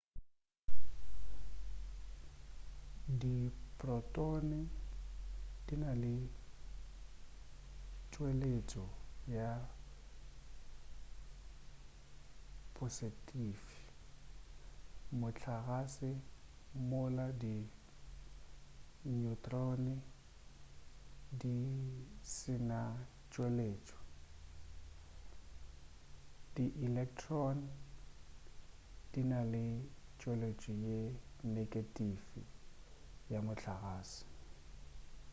diprotone di na le tšweletšo ye posetifi mohlagase mola di neutrons di se ne tšweletšo di electron di na le tšweletšo ye negetifi ya mohlagase